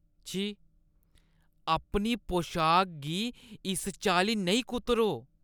छी, अपनी पोशाक गी इस चाल्ली नेईं कुतरो।